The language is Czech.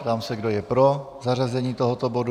Ptám se, kdo je pro zařazení tohoto bodu.